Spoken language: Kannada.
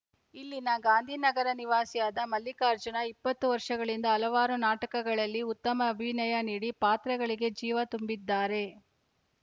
ಇಲ್ಲಿನ ಗಾಂಧಿನಗರ ನಿವಾಸಿಯಾದ ಮಲ್ಲಿಕಾರ್ಜುನ ಇಪ್ಪತ್ತು ವರ್ಷಗಳಿಂದ ಹಲವಾರು ನಾಟಕಗಳಲ್ಲಿ ಉತ್ತಮ ಅಭಿನಯ ನೀಡಿ ಪಾತ್ರಗಳಿಗೆ ಜೀವ ತುಂಬಿದ್ದಾರೆ